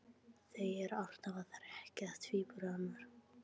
Þau eru alltaf að hrekkja tvíburana.